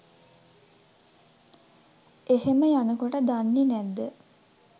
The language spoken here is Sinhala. එහෙම යනකොට දන්නේ නැද්ද